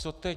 Co teď?